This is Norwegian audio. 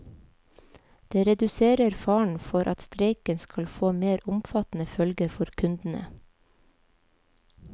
Det reduserer faren for at streiken skal få mer omfattende følger for kundene.